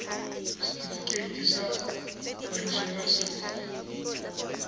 setifikeiti sa kwadiso ya serori